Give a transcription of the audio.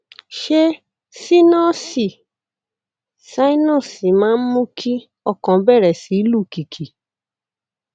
ṣé sínọọsì sinus máa ń mú kí ọkàn bẹrẹ sí lù kìkì